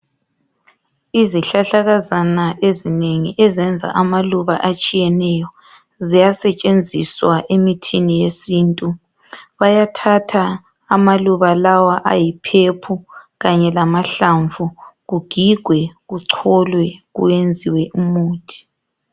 Izihlahlakazana ezinengi ezenza amaluba atshiyeneyo ziyasetshenziswa emithini yesintu bayathatha amaluba lawa ansomi kanye lamahlamvu kugigwe kucholwe kuyenziwe umuthi.